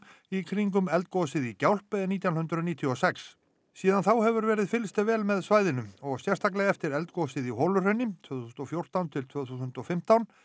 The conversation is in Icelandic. í kringum eldgosið í Gjálp nítján hundruð níutíu og sex síðan þá hefur verið fylgst vel með svæðinu og sérstaklega eftir eldgosið í Holuhrauni tvö þúsund og fjórtán til tvö þúsund og fimmtán